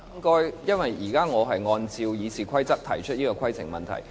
我現在按照《議事規則》提出規程問題。